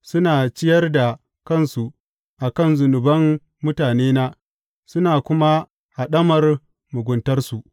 Suna ciyar da kansu a kan zunuban mutanena suna kuma haɗamar muguntarsu.